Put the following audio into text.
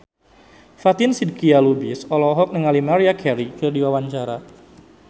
Fatin Shidqia Lubis olohok ningali Maria Carey keur diwawancara